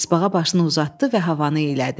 Tısbağa başını uzatdı və havanı iylədi.